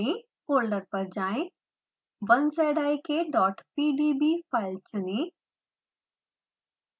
folder पर जाएँ 1zikpdb file चुनें